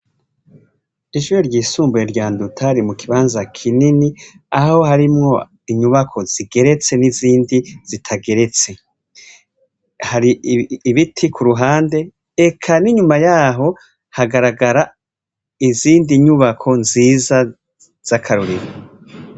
Ishure ryisumbuye rya Nduta riri mu kibanza kinini, aho harimwo inyubako zigeretse n'izindi zitageretse. Hari ibiti ku ruhande eka n'inyuma y'aho hagaragara izindi nyubako nziza z'akarorero.